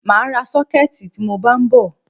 Mà á ra sọ́kẹ̀tì tí mọ bá ń bọ̀.